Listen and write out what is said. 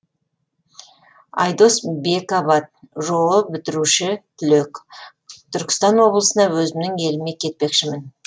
айдос бекабат жоо бітіруші түлек түркістан облысына өзімнің еліме кетпекшімін